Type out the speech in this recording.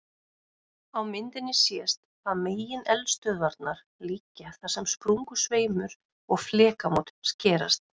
Á myndinni sést að megineldstöðvarnar liggja þar sem sprungusveimur og flekamót skerast.